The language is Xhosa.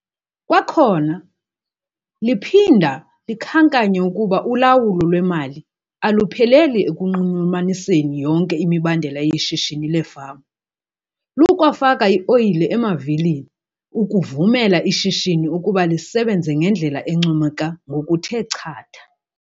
Kwakhona liphinda likhankanye ukuba ulawulo lwemali alupheleli ekunxulumaniseni yonke imibandela yeshishini lefama, 'lukwafaka ioyile emavilini' ukuvumela ishishini ukuba lisebenze ngendlela encomeka ngokuthe chatha.